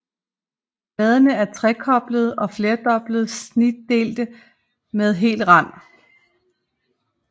Bladene er trekoblede og flerdobbelt snitdelte med hel rand